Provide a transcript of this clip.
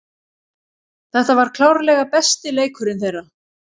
Þetta var klárlega besti leikurinn þeirra.